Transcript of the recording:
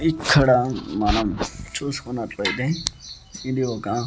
ఇక్కడ మనం చూసుకున్నట్లయితే ఇది ఒక--